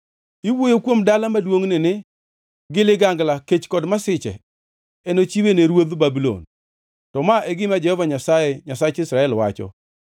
“Iwuoyo kuom dala maduongʼni ni, ‘Gi ligangla, kech kod masiche enochiwe ne ruodh Babulon.’ To ma e gima Jehova Nyasaye, Nyasach Israel, wacho: